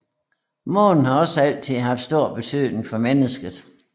Månen har også altid haft stor betydning for mennesket